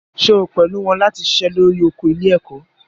Ṣé o pẹ̀lú wọn láti ṣiṣẹ́ lórí oko ilé-ẹ̀kọ́?